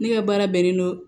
Ne ka baara bɛnnen don